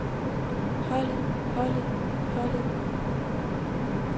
holdet holdet holdet